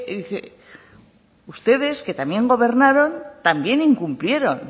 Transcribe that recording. ustedes que también gobernaron también incumplieron